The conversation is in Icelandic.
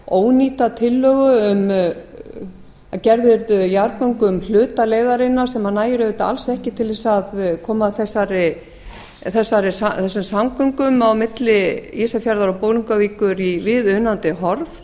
ónýta tillögu að gerð yrðu jarðgöng um hluta leiðarinnar sem nægir auðvitað alls ekki til að koma þessum samgöngum á milli ísafjarðar og bolungarvíkur í viðunandi horf